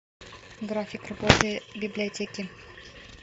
график работы библиотеки